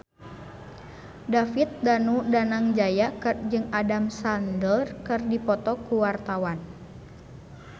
David Danu Danangjaya jeung Adam Sandler keur dipoto ku wartawan